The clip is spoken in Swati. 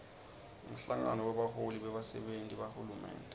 umhlangano webaholi bebasenti bahulumende